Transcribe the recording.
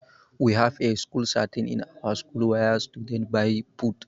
We have a school canteen in our school where students buy food.